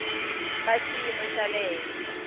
va xiyimo xa le henhla